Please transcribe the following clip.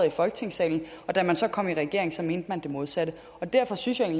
i folketingssalen men da man så kom i regering mente man det modsatte derfor synes jeg